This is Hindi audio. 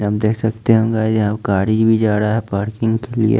हम देख सकते हम गाइज यहां गाड़ी भी जा रहा है पार्किंग के लिए--